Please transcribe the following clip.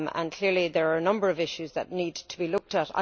Clearly there are a number of issues that need to be looked at.